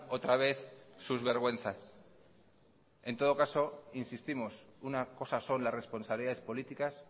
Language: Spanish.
otra vez sus vergüenzas en todo caso insistimos una cosa son las responsabilidades políticas